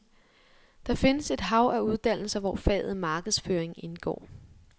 Der findes et hav af uddannelser, hvor faget markedsføring indgår.